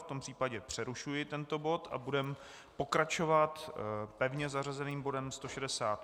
V tom případě přerušuji tento bod a budeme pokračovat pevně zařazeným bodem